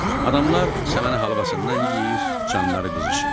Adamlar səməni halvasından yeyir, canları qızışır.